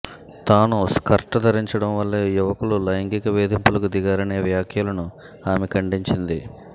తాను స్కర్ట్ ధరించడం వల్లే యువకులు లైంగిక వేధింపులకు దిగారనే వ్యాఖ్యలను ఆమె ఖండించింది